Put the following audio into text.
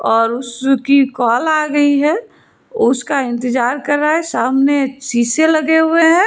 और उसकी कॉल आ गई है उसका इंतजार कर रहा है सामने शीशे लगे हुए हैं।